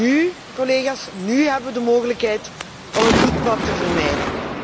Nu, collega's, hebben we de mogelijkheid om een bloedbad te vermijden.